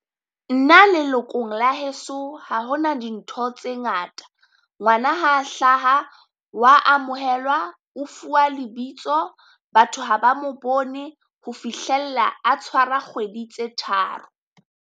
Nna lelokong la heso, ha ho na dintho tse ngata, ngwana ha hlaha wa amohelwa o fuwa lebitso, batho ha ba mo bone ho fihlella a tshwara kgwedi tse tharo.